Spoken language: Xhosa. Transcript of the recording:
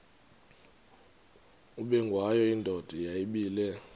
ubengwayo indoda yayibile